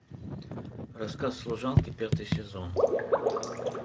рассказ служанки пятый сезон